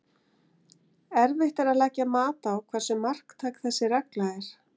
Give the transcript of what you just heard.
Erfitt er að leggja mat á hversu marktæk þessi regla er.